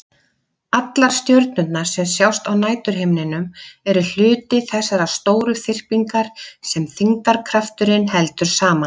Allar stjörnurnar sem sjást á næturhimninum eru hluti þessarar stóru þyrpingar sem þyngdarkrafturinn heldur saman.